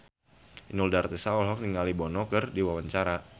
Inul Daratista olohok ningali Bono keur diwawancara